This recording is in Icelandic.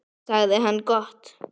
sagði hann: Gott.